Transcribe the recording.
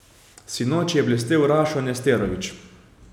Sinoči je blestel Rašo Nesterović.